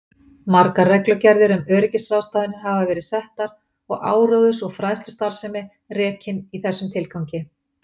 Margar reglugerðir um öryggisráðstafanir hafa verið settar og áróðurs- og fræðslustarfsemi rekin í þessum tilgangi.